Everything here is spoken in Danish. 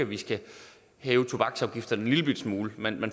vi skal hæve tobaksafgifterne en lillebitte smule man